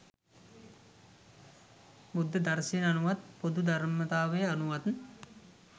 බෞද්ධ දර්ශනය අනුවත් පොදු ධර්මතාවය අනුවත්,